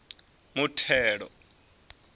muthelo